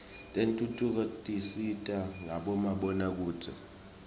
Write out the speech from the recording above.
tentfutfuko tisita ngabomabonakudze